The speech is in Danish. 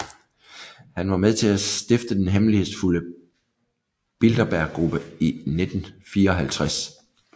Han var med til at stifte den hemmelighedsfulde Bilderberggruppe i 1954